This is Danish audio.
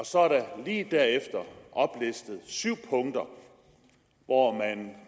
så er der lige derefter oplistet syv punkter hvor man